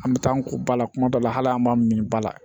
An bɛ taa an ko ba la kuma dɔ la hali an m'a min ba la